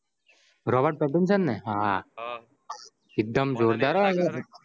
Robert Pattinson ને હા એકડું જોરદાર